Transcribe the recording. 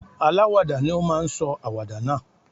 Aláwàdà ni ó máa sọ àwàdà náà.